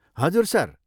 हजुर, सर।